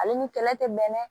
Ale ni kɛlɛ tɛ bɛn